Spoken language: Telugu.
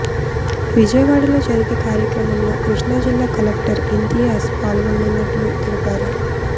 విజయవాడలో జరిగే కార్యక్రమంలో కృష్ణా జిల్లా కలెక్టర్ ఇంతియాజ్ పాల్గోనున్నట్లు తెలిపారు